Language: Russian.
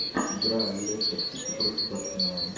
игра лестер сити против арсенала